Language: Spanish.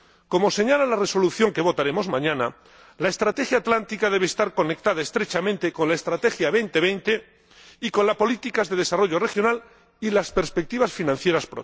Como señala la resolución que votaremos mañana, la Estrategia para la región atlántica debe estar conectada estrechamente con la Estrategia Europa 2020 y con la política de desarrollo regional y las próximas perspectivas financieras.